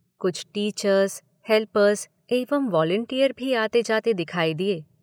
कुछ teachers, helpers एवं volunteer भी आते जाते दिखाई दिए।